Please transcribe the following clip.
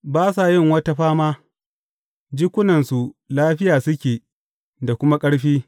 Ba sa yin wata fama; jikunansu lafiya suke da kuma ƙarfi.